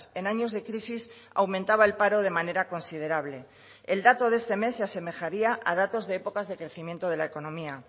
en años de crisis aumentaba el paro de manera considerable el dato de este mes se asemejaría a datos de épocas de crecimiento de la economía